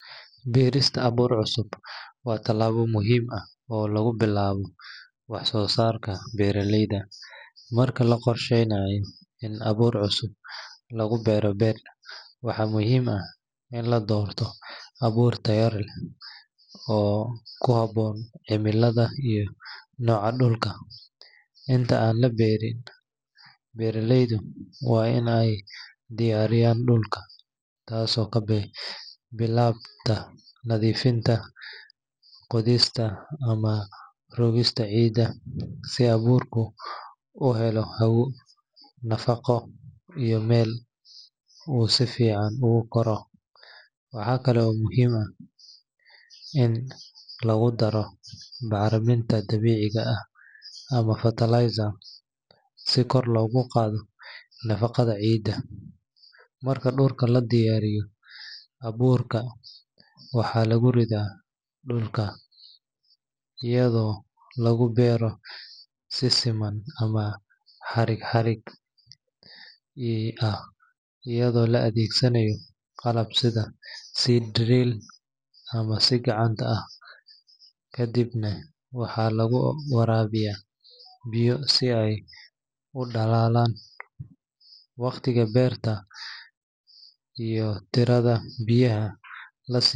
Cunooyinka laga sameeyo mindhicirka xoolaha, sida lo’da ama ariga, waa qayb muhiim ah oo ka mid ah dhaqanka cunnada ee dalal badan, gaar ahaan Soomaalida. Mindhicirka xoolaha waxaa lagu magacaabaa intestine waxaana loo yaqaannaa fuud ama calool iyadoo kuxiran deegaanka. Si loo cuno, waa in marka hore si fiican loo nadiifiyaa si looga saaro wasakhda iyo urta daran. Nadiifinta waxaa lagu sameeyaa biyo kulul, milix, iyo mararka qaar liin dhanaan ama khal, taasoo ka caawisa in laga saaro urka iyo wasakhda ku dheggan. Marka la nadiifiyo, waxaa jira siyaabo badan oo loo karin karo. Qaar waxay shiilaan oo ay saliid ku dubaan, halka kuwa kale ay ku kariyaan maraq. Waxaa kale oo laga sameeyaa stew ama la isku daraa cuntooyin kale sida bariis ama canjeero. Dadka qaar waxay door bidaan in.